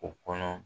O kɔnɔ